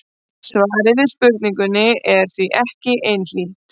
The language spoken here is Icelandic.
Svarið við spurningunni er því ekki einhlítt.